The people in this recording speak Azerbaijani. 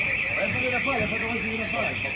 Əlbəttə, nə qədər də fərqi yoxdur, nə qədər də fərqi yoxdur.